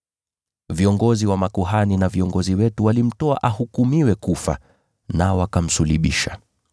Viongozi wa makuhani na viongozi wetu walimtoa ahukumiwe kufa, nao wakamsulubisha.